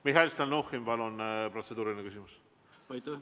Mihhail Stalnuhhin, palun, protseduuriline küsimus!